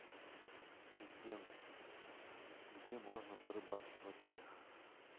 ассистент где можно порыбачить в отеле